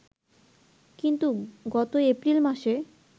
কিন্তু গত এপ্রিল মাসে